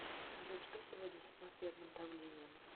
салют что сегодня с атмосферным давлением